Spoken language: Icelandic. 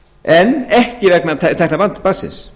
en ekki vegna tekna barnsins